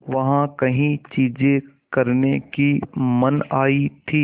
वहाँ कई चीज़ें करने की मनाही थी